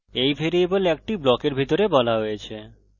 এই ভ্যারিয়েবল একটি ব্লকের ভিতরে বলা হয়েছে